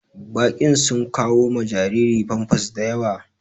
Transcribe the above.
Baƙin sun kawo ma jariri pampas daƴawa.